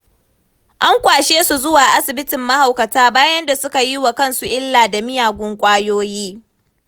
An kwashe su zuwa asibitin mahaukata bayan da suka yi wa kansu illa da miyagun ƙwayoyi.